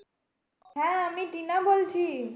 হ্যাঁ আমি টিনা বলছি।